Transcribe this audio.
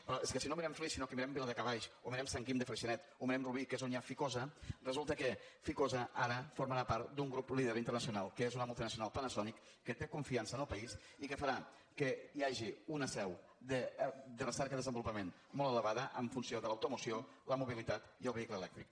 però és que si no mirem flix sinó que mirem viladecavalls o mirem sant guim de freixenet o mirem rubí que és on hi ha ficosa resulta que ficosa ara formarà part d’un grup líder internacional que és una multinacional panasonic que té confiança en el país i que farà que hi hagi una seu de recerca i desenvolupament molt elevada en funció de l’automoció la mobilitat i el vehicle elèctric